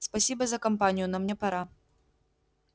спасибо за компанию но мне пора